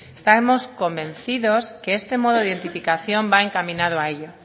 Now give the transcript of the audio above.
estamos convencidos que este modo de identificación va encaminado a ello